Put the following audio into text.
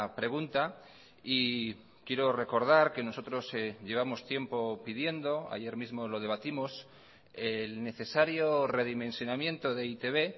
pregunta y quiero recordar que nosotros llevamos tiempo pidiendo ayer mismo lo debatimos el necesario redimensionamiento de e i te be